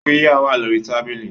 Qirya wà lórí tábìlì